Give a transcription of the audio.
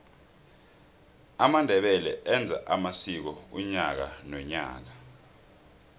amandebele enza amsiko unyaka nonyaka